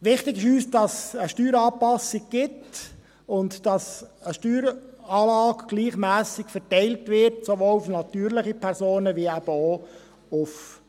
Wichtig ist uns, dass es eine Steueranpassung gibt und dass eine Steueranlage gleichmässig verteilt wird, sowohl auf natürliche Personen als eben auch auf